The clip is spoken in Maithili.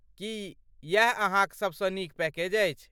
की यैह अहाँक सबसँ नीक पैकेज अछि?